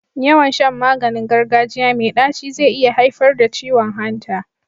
Yawan Shan maganin gargajiya me daci ze iya haifar da ciwon hanta